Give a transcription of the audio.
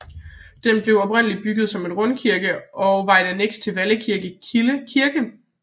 Den blev oprindeligt bygget som en rundkirke og var et anneks til Vallekilde Kirke